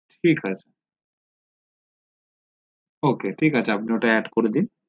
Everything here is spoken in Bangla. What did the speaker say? ঠিক আছে ok ঠিক আছে আপনি ওটা add করে দিন